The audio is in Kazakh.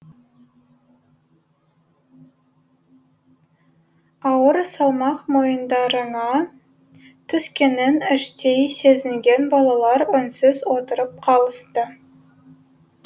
ауыр салмақ мойындарыңа түскенін іштей сезінген балалар үнсіз отырып қалысты